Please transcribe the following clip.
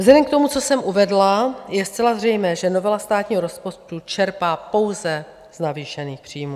Vzhledem k tomu, co jsem uvedla, je zcela zřejmé, že novela státního rozpočtu čerpá pouze z navýšených příjmů.